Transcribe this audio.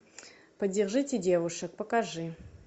поддержите девушек покажи